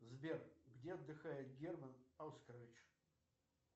сбер где отдыхает герман оскарович